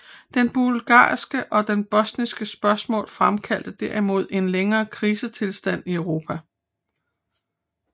Det bulgarske og det bosniske spørgsmål fremkaldte derimod en længere krisetilstand i Europa